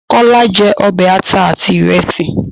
Kọ́lá jẹ́ ọbẹ̀ àta àti ìrèsì